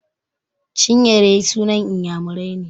Chinyere sunan Inyamurai ne.